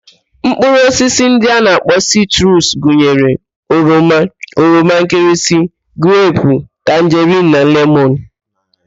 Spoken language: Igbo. Mkpụrụ osisi ndị a na-akpọ sitrus gụnyere: oroma, oroma nkịrịsị, grepu, tanjerin na lemọn